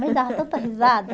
Me dava tanta risada.